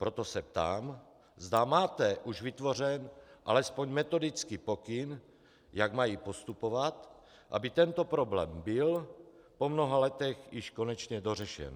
Proto se ptám, zda máte už vytvořen alespoň metodický pokyn, jak mají postupovat, aby tento problém byl po mnoha letech již konečně dořešen.